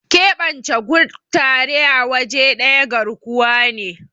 keɓance kutare a waje daya garkuwa ne